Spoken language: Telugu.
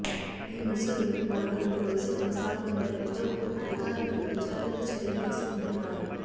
ఈ ముసురు మరో రెండు రోజులు కొనసాగుతుండటంతో అధికారులు ముందుజాగ్రత్త చర్యలు తీసుకుంటున్నారు